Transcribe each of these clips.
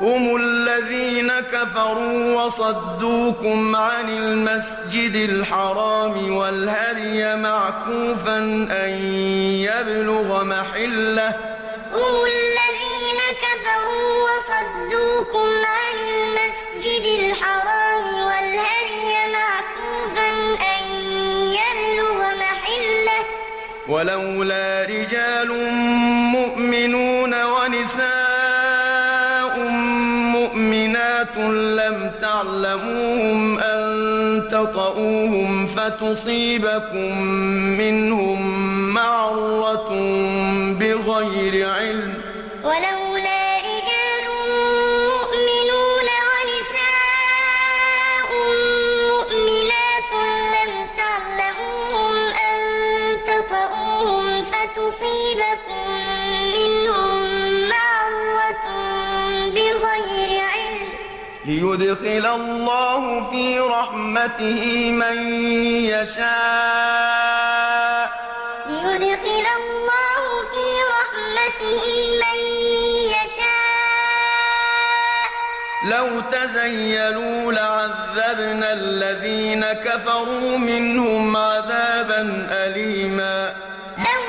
هُمُ الَّذِينَ كَفَرُوا وَصَدُّوكُمْ عَنِ الْمَسْجِدِ الْحَرَامِ وَالْهَدْيَ مَعْكُوفًا أَن يَبْلُغَ مَحِلَّهُ ۚ وَلَوْلَا رِجَالٌ مُّؤْمِنُونَ وَنِسَاءٌ مُّؤْمِنَاتٌ لَّمْ تَعْلَمُوهُمْ أَن تَطَئُوهُمْ فَتُصِيبَكُم مِّنْهُم مَّعَرَّةٌ بِغَيْرِ عِلْمٍ ۖ لِّيُدْخِلَ اللَّهُ فِي رَحْمَتِهِ مَن يَشَاءُ ۚ لَوْ تَزَيَّلُوا لَعَذَّبْنَا الَّذِينَ كَفَرُوا مِنْهُمْ عَذَابًا أَلِيمًا هُمُ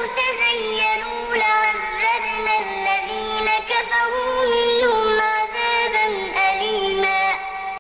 الَّذِينَ كَفَرُوا وَصَدُّوكُمْ عَنِ الْمَسْجِدِ الْحَرَامِ وَالْهَدْيَ مَعْكُوفًا أَن يَبْلُغَ مَحِلَّهُ ۚ وَلَوْلَا رِجَالٌ مُّؤْمِنُونَ وَنِسَاءٌ مُّؤْمِنَاتٌ لَّمْ تَعْلَمُوهُمْ أَن تَطَئُوهُمْ فَتُصِيبَكُم مِّنْهُم مَّعَرَّةٌ بِغَيْرِ عِلْمٍ ۖ لِّيُدْخِلَ اللَّهُ فِي رَحْمَتِهِ مَن يَشَاءُ ۚ لَوْ تَزَيَّلُوا لَعَذَّبْنَا الَّذِينَ كَفَرُوا مِنْهُمْ عَذَابًا أَلِيمًا